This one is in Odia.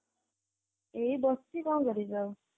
ଏଇ ବସିଛି କଣକରିବି ଆଊ